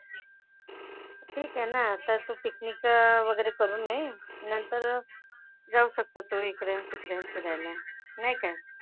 ठीक आहे ना. आता तू पिकनिक वगैरे करून ये. नंतर जाऊ शकतात तुम्ही इकडे तिकडे फिरायला. नाही काय?